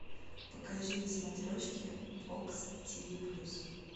покажи на смотрешке бокс ти ви плюс